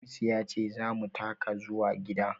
Hamisu ya ce za mu taka zuwa gida